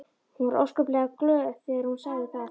Hún var óskaplega glöð þegar hún sagði það.